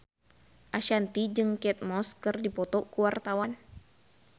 Ashanti jeung Kate Moss keur dipoto ku wartawan